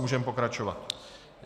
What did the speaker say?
Můžeme pokračovat.